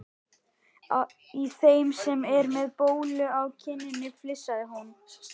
Í þeim sem er með bólu á kinninni flissaði hún.